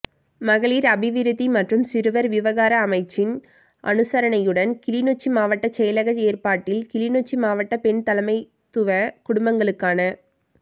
மகளீர் அபிவிருத்தி மற்றும் சிறுவர் விவகார அமைச்சின் அனுசரணையுடன் கிளிநொச்சி மாவட்ட செயலக ஏற்பாட்டில் கிளிநொச்சி மாவட்ட பெண்தலைமைத்துவ குடும்பங்களுக்கான